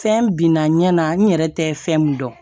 Fɛn binna ɲɛ na n yɛrɛ tɛ fɛn min dɔn